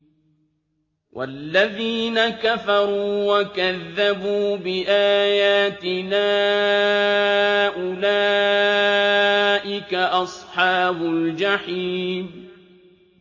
وَالَّذِينَ كَفَرُوا وَكَذَّبُوا بِآيَاتِنَا أُولَٰئِكَ أَصْحَابُ الْجَحِيمِ